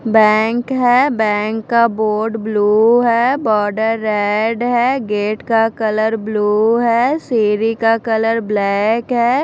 Bank है bank का board blue है बॉर्डर रेड है गेट का कलर ब्लू है सिढ़ी का कलर ब्लैक है।